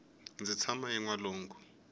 ndzi tshama enwalungu